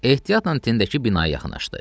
Ehtiyatla tinədəki binaya yaxınlaşdı.